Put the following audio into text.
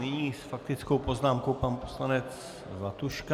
Nyní s faktickou poznámkou pan poslanec Zlatuška.